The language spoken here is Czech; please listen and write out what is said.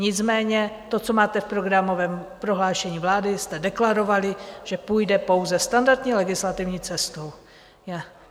Nicméně to, co máte v programovém prohlášení vlády, jste deklarovali, že půjde pouze standardní legislativní cestou.